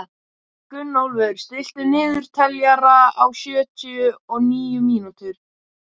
Gunnólfur, stilltu niðurteljara á sjötíu og níu mínútur.